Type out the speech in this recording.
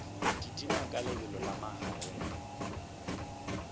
kitima ka lebelo la magareng